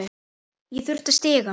Ég þurfti stiga.